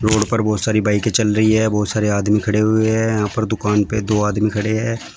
Road पर बहुत सारी बाईकें चल रही है बहुत सारे आदमी खड़े हुए हैं यहां पर दुकान पे दो आदमी खड़े हैं।